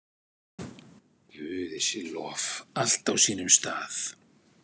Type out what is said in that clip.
Guði sé lof, allt á sínum stað.